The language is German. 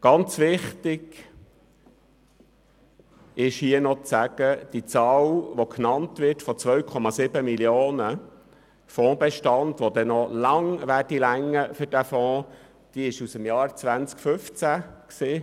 Ausserdem ist es sehr wichtig festzuhalten, dass die genannte Zahl des Betrags von 2,7 Mio. Franken Fondsbestand, der noch lange für die Zahlungen aus diesem Fonds ausreichen soll, aus dem Jahr 2015 stammt.